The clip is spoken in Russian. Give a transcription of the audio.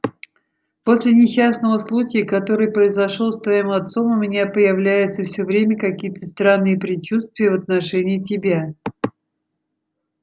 после несчастного случая который произошёл с твоим отцом у меня появляются всё время какие-то странные предчувствия в отношении тебя